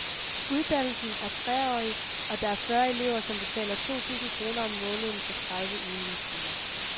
Uddannelsen er treårig, og der er fyrre elever, som betaler to tusind kroner om måneden for tredive ugentlige timer.